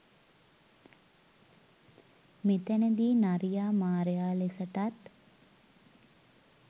මෙතැනදී නරියා මාරයා ලෙසටත්